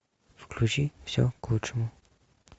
включи все к лучшему